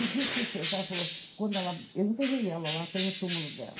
E, dito e feito, ela falou, quando ela... Eu enterrei ela lá, tem o túmulo dela.